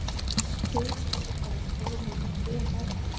Hver vill ekki fara á stórmót, EM?